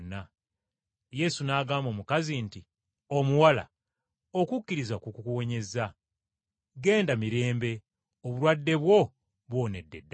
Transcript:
Yesu n’agamba omukazi nti, “Omuwala, okukkiriza kwo kukuwonyezza, genda mirembe obulwadde bwo buwonedde ddala.”